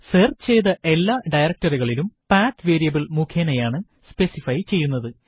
search ചെയ്ത എല്ലാ ഡയറക്ടറികളും പത്ത് വേരിയബിൾ മുഖേനയാണ് സ്പെസിഫൈ ചെയ്യുന്നത്